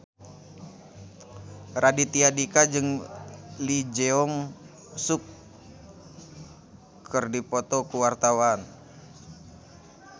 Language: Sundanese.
Raditya Dika jeung Lee Jeong Suk keur dipoto ku wartawan